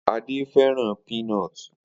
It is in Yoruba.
Ade fẹràn peanut